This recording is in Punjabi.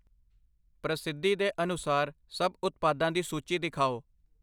ਪ੍ਰਸਿੱਧੀ ਦੇ ਅਨੁਸਾਰ ਸਭ ਉਤਪਾਦਾ ਦੀ ਸੂਚੀ ਦਿਖਾਓ।